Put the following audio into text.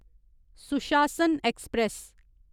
सुशासन ऐक्सप्रैस